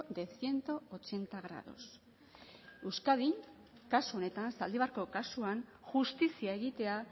de ciento ochenta grados euskadin kasu honetan zaldibarko kasuan justizia egitea